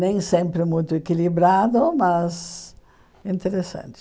Nem sempre muito equilibrado, mas interessante.